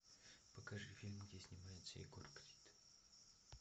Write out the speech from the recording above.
покажи фильм где снимается егор крид